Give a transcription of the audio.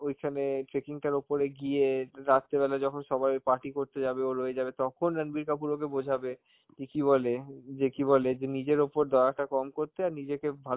ওইখানে trekking টার উপরে গিয়ে রাত্রেবেলা যখন সবাই party করতে যাবে, ও রয়ে যাবে, তখন রাণবির কাপুর ওকে বোঝাবে যে কি বলে, যে কি বলে, যে নিজের উপর দয়াটা কম করতে, আর নিজেকে ভালো